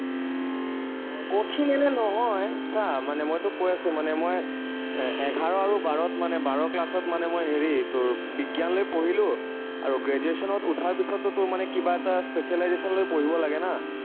কঠিন এনেই নহয়, চা মানে মই তোক কৈ আছো মানে মই, এৰ এঘাৰ আৰু বাৰত মানে বাৰ class ত মানে মই হেৰি তোৰ বিজ্ঞান লৈ পঢ়িলো আৰু graduation ত উঠাৰ পিছততো তোৰ কিবা এটা specialization লৈ পঢ়িব লাগে না।